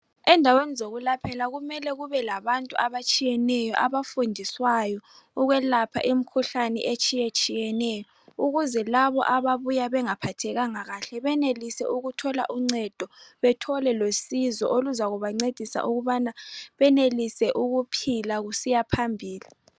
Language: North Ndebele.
Endaweni zokulaphela kumele kubelabantu abatshiyeneyo abafundiswayo ukwelapha imikhuhlane etshiyetshiyeneyo ukuze labo ababuya bengaphathekanga kahle benelise ukuthola uncedo bethole losizo olokuthi benelise ukuphila besiyaphambili.